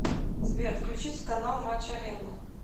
сбер включить канал матч арена